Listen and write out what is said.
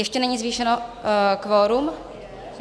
Ještě není zvýšeno kvorum?